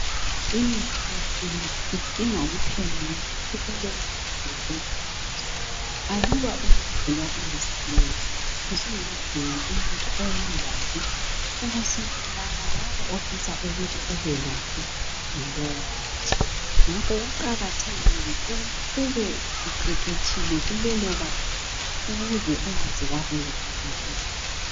Imithi yesintu idinha kuphelaulwazi ngalowo muthi aluba ulwazi lusilela usingadinga umuthi oyingozi ubusubulala labo ofisa ukuthi ubelaphe ngalowo muthi ngakho kuqakathekile ukuthi ube uqeqetshile kulelo banga ukuze ungazewabulala abantu